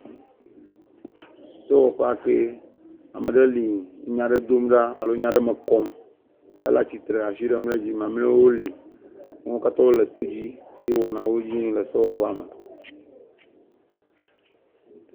Sewɔƒe kee ame ɖe li enya ɖe dom ɖa alo enya ɖe me kɔm, ele atsitre asi ɖem ɖe edzi mamleawo li wo katã wole to dzi eye wɔnawo dzi yim le sewɔƒea me.